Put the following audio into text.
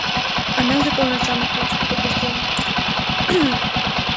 она же полна самых лучших побуждений